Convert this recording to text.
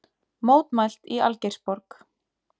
Mótmælt í Algeirsborg